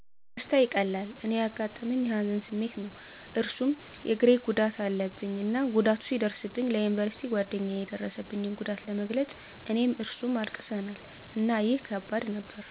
ደስታ ይቀላል። እኔ ያጋጠመኝ የሀዘን ስሜት ነው እሱም እግሬ ጉዳት አለብኝ እና ጉዳቱ ሲደርስብኝ ለዩኒቨርሲቲ ጓደኛየ የደረሰብኝን ጉዳት ለመግለፅ እኔም እሱም አልቅሰናል። እና ይህ ከባድ ነበር።